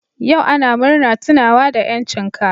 Yau ana murna tunawa da 'yancin ka.